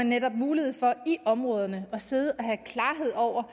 netop mulighed for i områderne at sidde og have klarhed over